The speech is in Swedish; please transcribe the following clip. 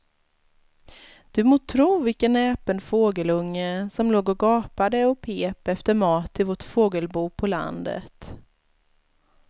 Du må tro vilken näpen fågelunge som låg och gapade och pep efter mat i vårt fågelbo på landet.